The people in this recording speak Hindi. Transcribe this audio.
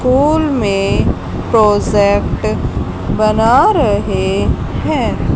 स्कूल में प्रोजेक्ट बना रहे हैं।